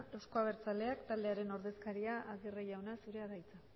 eusko abertzaleak taldearen ordezkaria aguirre jauna zurea da hitza